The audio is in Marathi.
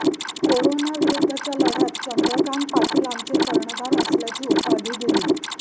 करोनाविरुद्धच्या लढ्यात चंद्रकांत पाटील आमचे कर्णधार असल्याची उपाधी दिली